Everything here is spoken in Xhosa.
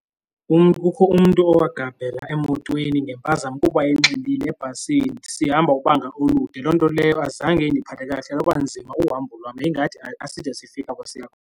Umntu, kukho umntu owagabhela emotweni ngempazamo kuba enxilile ebhasini sihamba ubanga olude. Loo nto leyo azange indiphathe kakuhle. Lwaba nzima uhambo lwam yayingathi aside sifike apho siya khona.